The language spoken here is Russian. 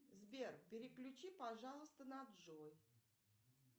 сбер переключи пожалуйста на джой